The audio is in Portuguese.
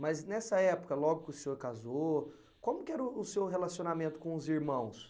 Mas nessa época, logo que o senhor casou, como que era o o seu relacionamento com os irmãos?